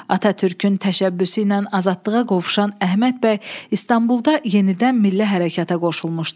Atatürkün təşəbbüsü ilə azadlığa qovuşan Əhməd bəy İstanbulda yenidən milli hərəkata qoşulmuşdu.